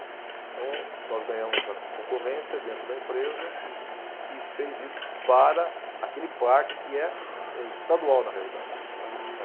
Então, nós ganhamos a con, concorrência dentro da empresa. Uhum. Que fez isso para aquele parque que é, é estadual, na realidade. Tá, tá.